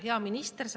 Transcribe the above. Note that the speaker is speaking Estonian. Hea minister!